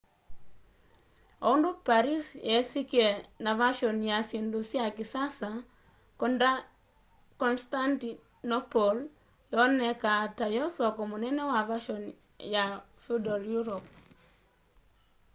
oundu paris yisikie na vashoni ya syindu sy kisasa constantinople yoonekaa tayo soko munene wa vashoni ya feudal europe